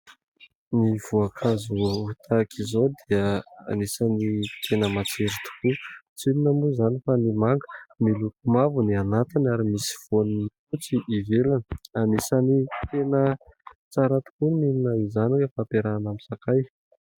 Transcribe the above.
Ny voakazo tahaka izao dia anisany tena matsiro tokoa tsy inona moa izany fa ny manga miloko mavo ny anatiny ary misy voany fotsy ivelany, anisany tena tsara tokoa mihinana izany rehefa ampiarahana aminy sakay.